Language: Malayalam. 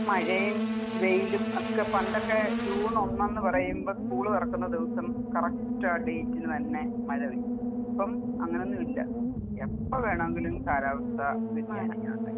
മഴയും, വെയിലും ഒക്കെ പണ്ടൊക്കെ ജൂൺ ഒന്നെന്ന് പറയുമ്പോ സ്കൂൾ തുറക്കുന്ന ദിവസം കറക്റ്റ് ആ ഡേറ്റിന് തന്നെ മഴപെയ്യും. ഇപ്പം അങ്ങനെ ഒന്നും ഇല്ല. എപ്പോ വേണമെങ്കിലും കാലാവസ്ഥ വ്യതിയാനം ഇങ്ങനെ ഉണ്ടായിക്കൊണ്ടിരിക്കും